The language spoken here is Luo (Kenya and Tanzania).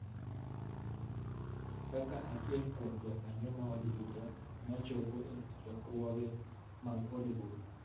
kaka achiel kuom jokanyo maod bura ma chopo e chokruoge mag od bura